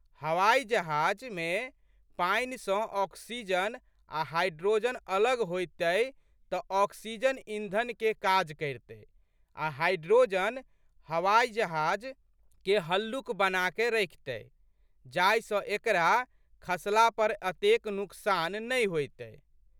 हवाजहाजमे पानि सँ ऑक्सीजन आ' हाइड्रोजन अलग होइतै तऽ ऑक्सीजन इंधनके काज करितै आ' हाइड्रोजन हवाजहाजके हल्लुक बनाकए रखितै जाहि सँ एकरा खसला पर एतेक नुकसान नहि होइतै।